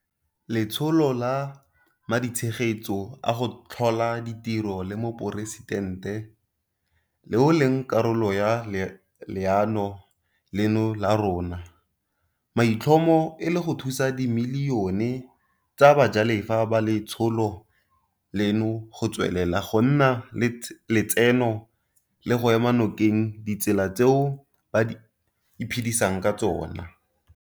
Letsholo la Maditshegetso a go Tlhola Ditiro la Moporesitente, leo e leng karolo ya leano leno la rona, maitlhomo e le go thusa dimilione tsa bajalefa ba letsholo leno go tswelela go nna le letseno le go ema nokeng ditsela tseo ba iphedisang ka tsona.